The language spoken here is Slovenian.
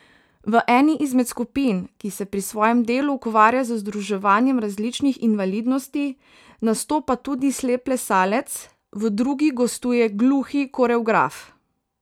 V eni izmed skupin, ki se pri svojem delu ukvarja z združevanjem različnih invalidnosti, nastopa tudi slep plesalec, v drugi gostuje gluhi koreograf.